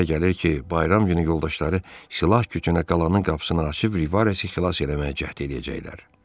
Mənə elə gəlir ki, bayram günü yoldaşları silah gücünə qalanın qapısını açıb Rivaresi xilas eləməyə cəhd eləyəcəklər.